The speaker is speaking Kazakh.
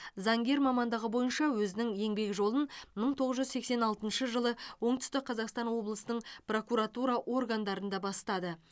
заңгер мамандығы бойынша өзінің еңбек жолын мың тоғыз жүз сексен алтыншы жылы оңтүстік қазақстан облысының прокуратура органдарында бастады